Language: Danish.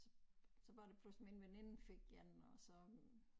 Så så var det pludselig min veninde fik 1 og så